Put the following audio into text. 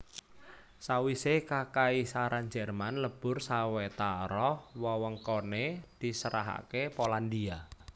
Sawisé Kakaisaran Jerman lebur sawetara wewengkoné diserahaké Polandia